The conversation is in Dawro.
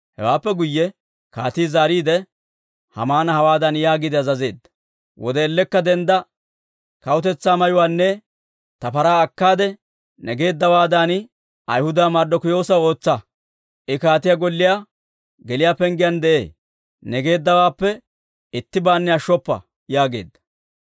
Hewaappe guyye kaatii zaariide, Haamana hawaadan yaagiide azazeedda; «Wode ellekka dendda Kawutetsaa mayuwaanne ta paraa akkaade, ne geeddawaadan Ayhudaa Marddokiyoosaw ootsa. I kaatiyaa golliyaa geliyaa penggiyaan de'ee. Ne geeddawaappe ittibaanne ashshoppa» yaageedda.